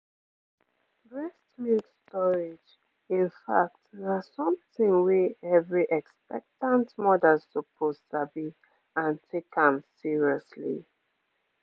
breast milk storage in fact na something wey every expectant mother suppose sabi and take am seriously